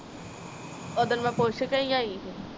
ਓਦਣ ਮੈ ਪੁੱਛ ਕੇ ਹੀ ਆਈ ਹੀ